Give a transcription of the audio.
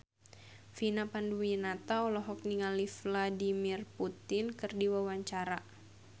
Vina Panduwinata olohok ningali Vladimir Putin keur diwawancara